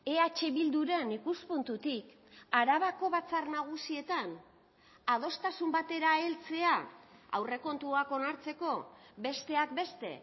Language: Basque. eh bilduren ikuspuntutik arabako batzar nagusietan adostasun batera heltzea aurrekontuak onartzeko besteak beste